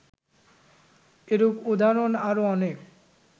এরূপ উদাহরণ আরও অনেক